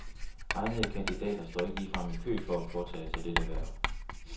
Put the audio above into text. Egnede kandidater står ikke ligefrem i kø for at påtage sig dette hverv.